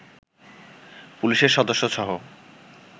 পুলিশের সদস্যসহ